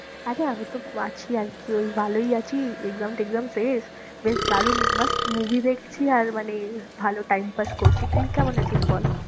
আচ্ছা আগে তো আছি আর কি ভালোই আছি exam টেক্সাম শেষ, বেশ দারুন মাস্ত movie দেখছি আর মানে ভালো time pass করছি, তুই কেমন আছিস বল?